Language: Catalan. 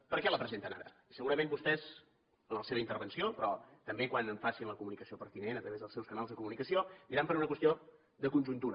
per què la presenten ara i segurament vostès en la seva intervenció però també quan en facin la comunicació pertinent a través dels seus canals de comunicació diran per una qüestió de conjuntura